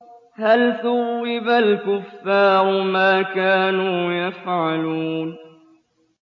هَلْ ثُوِّبَ الْكُفَّارُ مَا كَانُوا يَفْعَلُونَ